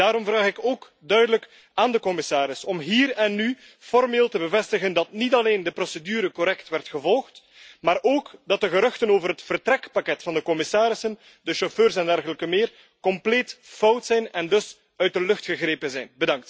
Daarom vraag ik ook duidelijk aan de commissaris om hier en nu formeel te bevestigen dat niet alleen de procedure correct werd gevolgd, maar ook dat de geruchten over het vertrekpakket van de commissarissen, de chauffeurs en dergelijke meer, compleet fout zijn en dus uit de lucht gegrepen zijn.